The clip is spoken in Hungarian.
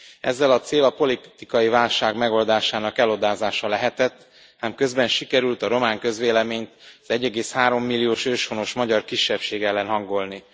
Ezzel a cél a politikai válság megoldásának elodázása lehetett, ám közben sikerült a román közvéleményt az 1,3 milliós őshonos magyar kisebbség ellen hangolni.